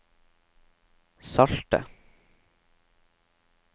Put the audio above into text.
salte